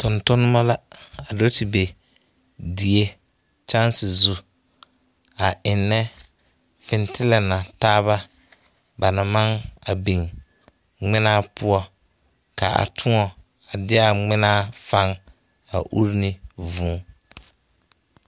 Tontonnema la a do te be die kyaŋse zu eŋnɛ fintillɛ na taaba ba na maŋ a biŋ ngminaa poɔ ka tõɔ deɛaa ngminaa fang ure uri ne vūū.